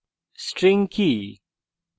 string কি